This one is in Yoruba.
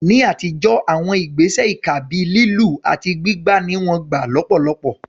Ní àtijọ́, àwọn ìgbésẹ̀ ìkà bíi lílù àti gbígbá ni wọ́n gbà lọ́pọ̀lọpọ̀.